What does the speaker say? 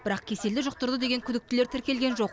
бірақ кеселді жұқтырды деген күдіктілер тіркелген жоқ